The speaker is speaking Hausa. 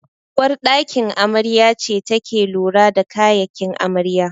Uwar ɗakin amarya ce take lura da kayakin amarya